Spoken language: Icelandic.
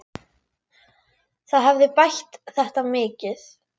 Það hefði bætt þetta mikið.